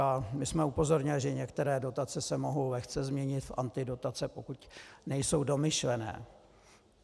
A my jsme upozornili, že některé dotace se mohou lehce změnit v antidotace, pokud nejsou domyšlené.